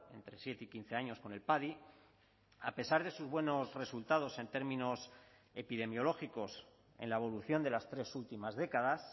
entre siete y quince años con el padi a pesar de sus buenos resultados en términos epidemiológicos en la evolución de las tres últimas décadas